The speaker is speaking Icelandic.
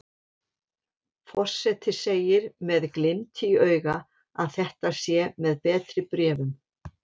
Forseti segir með glimt í auga að þetta sé með betri bréfum.